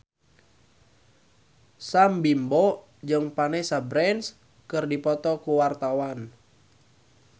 Sam Bimbo jeung Vanessa Branch keur dipoto ku wartawan